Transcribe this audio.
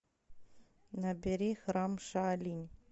набери храм шаолинь